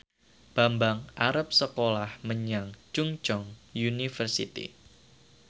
Bambang arep sekolah menyang Chungceong University